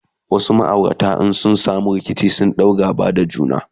wasu maaurata in sun samu rikici sukan ɗau gaba da juna